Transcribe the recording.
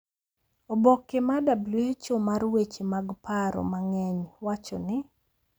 Oboke mar WHO mar weche mag paro mang’eny wacho ni